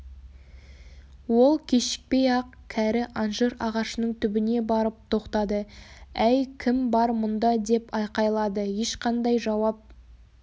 ол кешікпей-ақ кәрі анжир ағашының түбіне барып тоқтады әй кім бар мұнда деп айқайлады ешқандай жауап